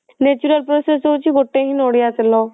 natural process ହଉଛି ଗୋଟେ ହିଁ ନଡିଆ ତେଲ